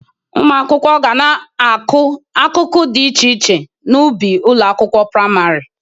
Ụmụ akwụkwọ ga na-akụ akụkụ dị iche iche n'ubi ụlọ akwụkwọ prịmarị